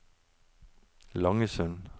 Langesund